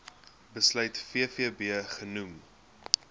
besluit vvb genoem